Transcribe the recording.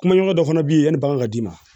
Kumaɲɔgɔn dɔ fana bɛ yen yanni bagan ka d'i ma